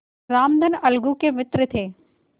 रामधन अलगू के मित्र थे